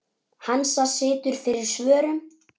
Hansa situr fyrir svörum.